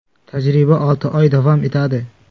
Tajriba olti oy davom etadi.